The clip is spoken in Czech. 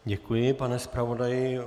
Děkuji, pane zpravodaji.